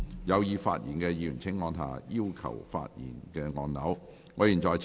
有意發言的議員請按下"要求發言"按鈕。